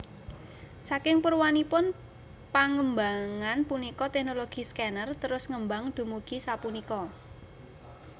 Saking purwanipun pangembangan punika teknologi scanner trus ngembang dumugi sapunika